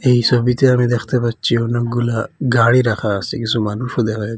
এই সবিতে আমি দেখতে পাচ্ছি অনেকগুলা গাড়ি রাখা আসে কিছু মানুষও দেখা--